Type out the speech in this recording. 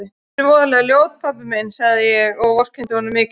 Finnst þér ég voðalega ljót pabbi minn, segi ég og vorkenni honum mikið.